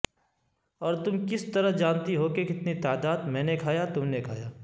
اور تم کس طرح جانتی ہو کہ کتنی تعداد میں کھایا تم نے کھایا